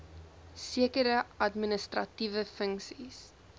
sekere administratiewe funksies